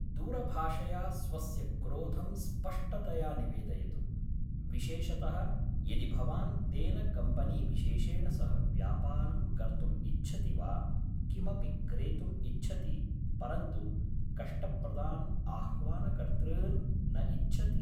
दूरभाषया स्वस्य क्रोधं स्पष्टतया निवेदयतु, विशेषतः यदि भवान् तेन कम्पनीविशेषेण सह व्यापारं कर्तुम् इच्छति वा किमपि क्रेतुम् इच्छति परन्तु कष्टप्रदान् आह्वानकर्तॄन् न इच्छति।